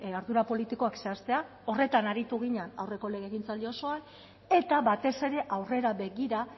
ardura politikoak zehaztea horretan aritu ginen aurreko legegintzaldi osoan eta batez ere aurrera begira